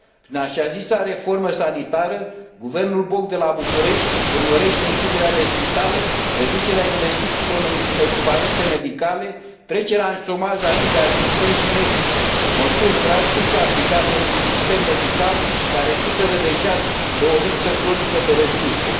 Prin așa zisa reformă sanitară, guvernul Boc de la București urmărește închiderea de spitale, reducerea investițiilor în echipamente medicale, trecerea în șomaj a mii de asistenți și medici, măsuri drastice aplicate într un sistem medical care suferă deja de o lipsă cronică de resurse.